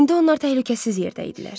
İndi onlar təhlükəsiz yerdə idilər.